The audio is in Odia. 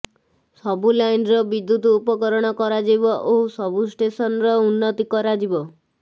ସବୁ ଲାଇନର ବିଦ୍ୟୁତକରଣ କରାଯିବ ଓ ସବୁ ଷ୍ଟେସନର ଉନ୍ନତି କରାଯିବ